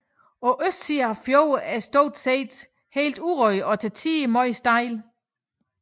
Østsiden af fjorden er stort set helt urørt og til tider meget stejl